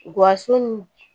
Guwa su nun